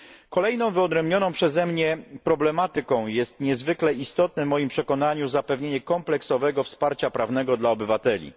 Kolejną wyodrębnioną przeze mnie problematyką jest niezwykle istotne w moim przekonaniu zapewnienie kompleksowego wsparcia prawnego dla obywateli.